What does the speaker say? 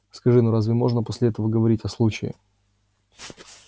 скажи ну разве можно после этого говорить о случае